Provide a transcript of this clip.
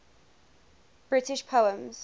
british poems